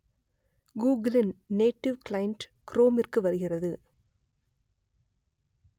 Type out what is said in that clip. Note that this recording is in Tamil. கூகுளின் நேடிவ் கிளைன்ட் குரோமிற்கு வருகிறது